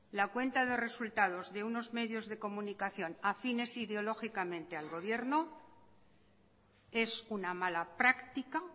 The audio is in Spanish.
la cuenta de resultados de unos medios de comunicación afines ideológicamente al gobierno es una mala práctica